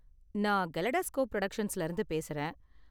நான் கலெடாஸ்கோப் பிரொடக்ஷன்ஸ்ல இருந்து பேசுறேன்.